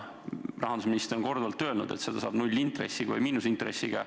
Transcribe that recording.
Rahandusminister on korduvalt öelnud, et seda saab nullintressi või miinusintressiga.